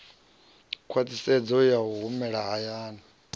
khwaṱhisedzo ya u humela hayani